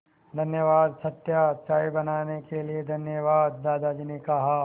धन्यवाद सत्या चाय बनाने के लिए धन्यवाद दादाजी ने कहा